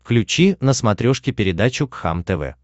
включи на смотрешке передачу кхлм тв